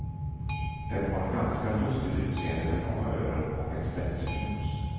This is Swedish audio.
Den har ett ganska lustigt utseende med långa öron och en spetsig nos.